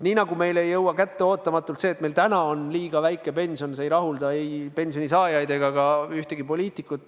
Nii nagu Eestis pole ootamatult kätte jõudnud olukord, kus meil on liiga väike pension, mis ei rahulda ei pensionisaajaid ega ka ühtegi poliitikut.